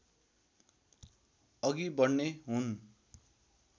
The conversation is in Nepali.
अघि बढ्ने हुन्